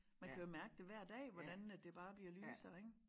Man kan jo mærke det hver dag hvordan at det bare bliver lysere ik